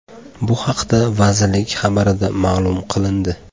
Bu haqda vazirlik xabarida ma’lum qilindi .